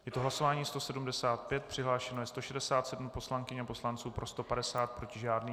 Je to hlasování 175, přihlášeno je 167 poslankyň a poslanců, pro 150, proti žádný.